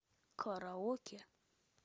караоке